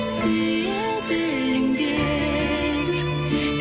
сүйе біліңдер